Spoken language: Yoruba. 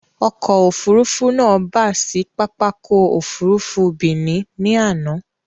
Ọkọ̀ Òfurufú náà bà sì pápákọ̀ Òfurufú Benin ni àná